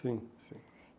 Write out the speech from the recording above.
Sim, sim.